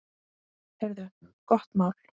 Heyrðu, gott mál.